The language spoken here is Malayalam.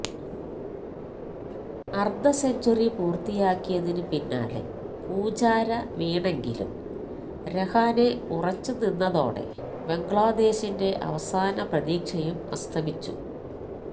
അര്ധസെഞ്ചുറി പൂര്ത്തിയാക്കിയതിന് പിന്നാലെ പൂജാര വീണെങ്കിലും രഹാനെ ഉറച്ചു നിന്നതോടെ ബംഗ്ലാദേശിന്റെ അവസാന പ്രതീക്ഷയും അസ്തമിച്ചു